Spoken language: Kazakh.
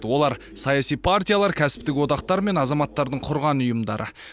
олар саяси партиялар кәсіпітік одақтар мен азаматтардың құрған ұйымдары